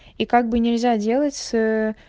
и как бы нельзя делать с